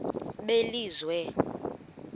belizwe